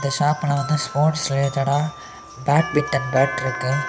ஷாப்ல வந்து ஸ்போட்ஸ் ரிலேட்டடா பேட்மிட்டன் பேட் இருக்குது.